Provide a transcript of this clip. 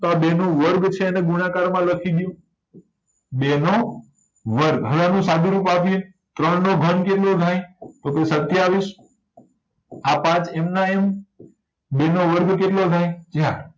તો આ બેનો વર્ગ છે એને ગુણાકારમાં લખી દયો બેનો વર્ગ હવે આનું સાદુરૂપ આપ્યે ત્રણનો ઘન કેટલો થાય તો કે સત્યાવીશ આ પાંચ એમના એમ બેનો વર્ગ કેટલો થાય ચાર